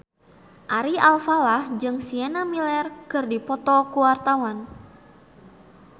Ari Alfalah jeung Sienna Miller keur dipoto ku wartawan